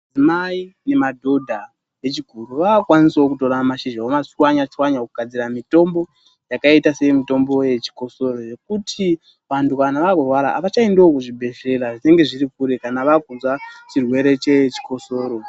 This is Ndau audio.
Mai nemadhodha echikuru, vakukwanisawo kutorawo mashizha vomatswanya tswanya, kwakugadzira mitombo yakaita semitombo seyechikosoro yekuti vantu kana vakurawara, havachaendiwo kuzvibhedhlera zviri kure kana vakunzwa chirwere chechikosoro.